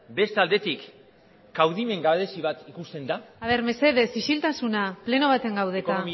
beste aldetik kaudimen gabezi bat ikusten da aber mesedez isiltasuna pleno baten gaude eta